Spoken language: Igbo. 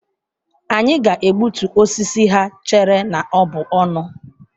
Anyị ga-egbutu osisi ha chere na ọ bụ ọnụ.